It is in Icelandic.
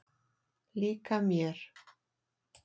Líka mér.